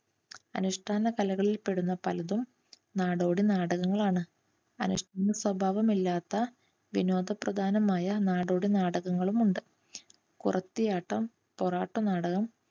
അനുഷ്ഠാന കലകളിൽപെടുന്ന പലതും നാടോടി നാടകങ്ങളാണ്. അനുഷ്ഠാന സ്വഭാവമില്ലാത്ത വിനോദപ്രധാനമായ നാടോടി നാടകങ്ങളുമുണ്ട്. കുറത്തിയാട്ടം പൊറാട്ടുനാടകം